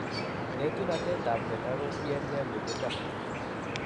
Eetunetab mnyondo kotien nge minginindo